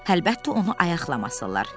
Əlbəttə, onu ayaqlamasılar.